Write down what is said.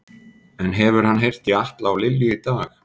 En hefur hann heyrt í Atla og Lilju í dag?